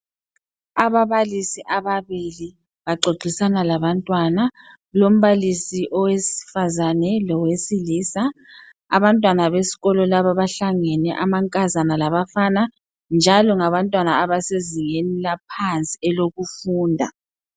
Ababalisi ababili baxoxisana labantwana. Lombalisi owesifazane lowesilisa. Abantwana besikolo laba bahlangene abafana lamankazana njalo ngabantwana abasezingeni laphansi elokufunda.